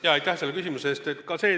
Jaa, aitäh selle küsimuse eest!